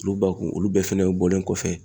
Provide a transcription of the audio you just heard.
Olu ba kun olu bɛɛ fɛnɛ bɔlen kɔfɛ